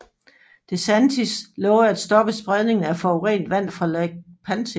DeSantis lovede at stoppe spredningen af forurenet vand fra Lake Okeechobee